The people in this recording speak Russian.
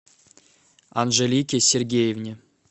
анжелике сергеевне